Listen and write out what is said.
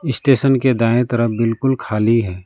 इस स्टेशन के दाएं तरफ बिल्कुल खाली है।